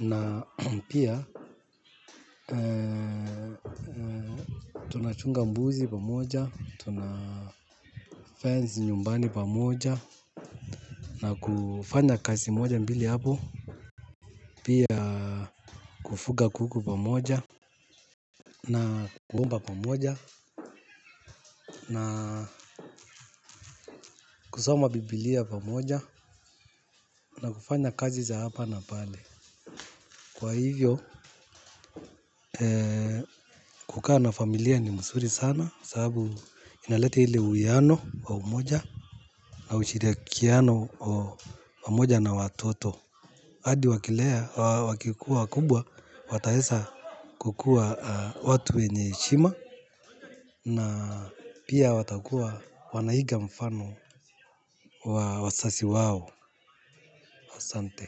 na pia tunachunga mbuzi pamoja tuna fence nyumbani pamoja na kufanya kazi moja mbili hapo pia kufuga kuku pa moja na kuomba pamoja. Na na kusoma bibilia pamoja na kufanya kazi za hapa na pale. Kwa hivyo kukaa na familia ni mzuri sana. Sababu inaleta ile uwiano wa umoja na ushirikiano wa umoja na watoto. Hadi wakilea, wakikuwa kubwa, wataweza kukua watu wenye heshima. Na pia watakua wanaiga mfano wazazi wao, asante.